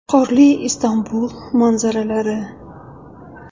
Qorli Istanbul manzalari.